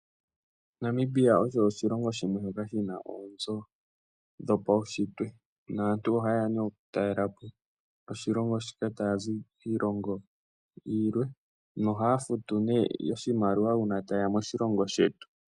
Namibia osho oshilongo shimwe shoka shina oonzo dho paushitwe naantu oha yeya nduno oku talela po oshilongo shika ,taya zi kiilongo yilwe, no haya futu oshimaliwa uuna ta yeya moshilongo shetu .